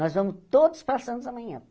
Nós vamos todos passamos amanhã.